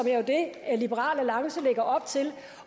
er det liberal alliance lægger op til